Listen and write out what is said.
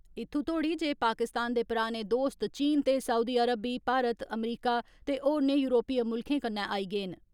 इत्थं तोड़ी जे पाकिस्तान दे पराने दोस्त चीन ते सऊदी अरब बी भारत, अमरीका ते होरने युरोपीय मुल्खें कन्नै आई गे न।